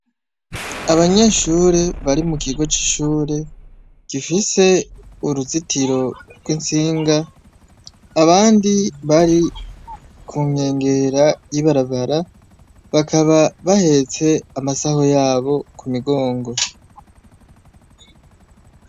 Abanyeshure bari mu kigo cy'ishure gifise uruzitiro rw'intsinga, abandi bari ku nkengera y'ibarabara bakaba bahetse amasaho yabo ku migongo.